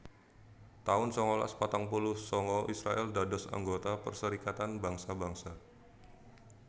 taun sangalas patang puluh sanga Israèl dados anggota Perserikatan Bangsa Bangsa